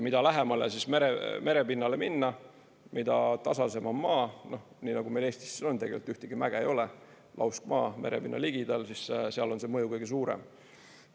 Mida lähemale merepinnale minna, mida tasasem on maa – nii nagu meil Eestis siin on, tegelikult ühtegi mäge ei ole, lauskmaa merepinna ligidal –, siis seal on see mõju kõige suurem.